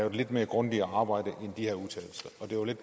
et lidt mere grundigt arbejde